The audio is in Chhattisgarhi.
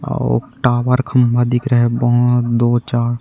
अऊ टावर खंभा दिख रहे दो चा--